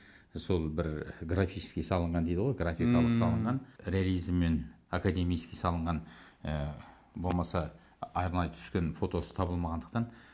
сол бір графически салынған дейді ғой графикалық салынған реализм мен академически салынған ы болмаса арнайы түскен фотосы табылмағандықтан